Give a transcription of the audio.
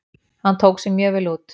Hann tók sig mjög vel út.